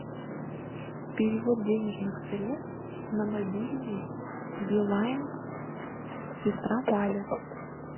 перевод денежных средств на мобильный билайн сестра валя